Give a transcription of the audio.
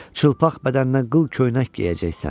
Çılpaq bədəninə qıl köynək geyəcəksən.